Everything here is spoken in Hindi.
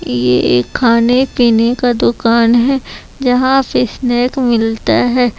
ये एक खाने पीने का दुकान है जहां पर पे स्नेक मिलता है।